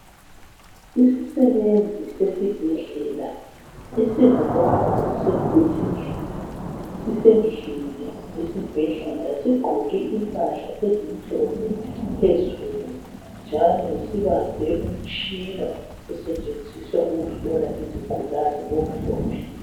Isisebenzi sesibhedlela esingubaba osekhulile, sisendlini yesibhedlela sigqoke impahla ezimhlophe phezulu njalo sibambe umtshina osetshenziswa ukuhlola izigulane omhlophe.